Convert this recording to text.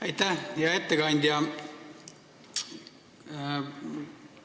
Aitäh, hea ettekandja!